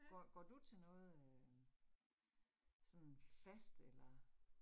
Går går du til noget øh sådan fast eller